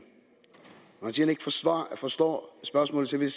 forstår spørgsmålet så vil